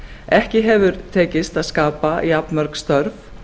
ekki hefur tekist að skapa jafnmörg störf